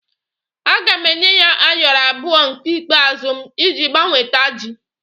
Aga m enye ya Ayoro abụọ nke ikpeazụ m iji gbanweta ji